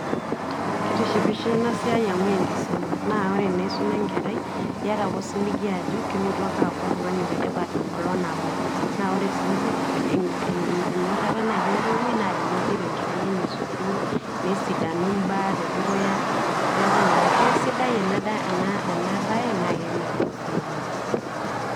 Kitishipo ena siai amu enkisuma naa ore naa isuma enkerai, iyata ake osiligi ajo kelotu ake aaku oltung'ani letipat enkolong' nabo, naa ore sii enyorata naaji entoiwoi naa teneidip enkerai enye sukuul nisadanu imbaa te dukuya. Neeku naa kesidai ena ena baye naake emelok sii aitoki.